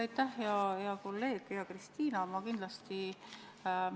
Aitäh, hea kolleeg, hea Kristina!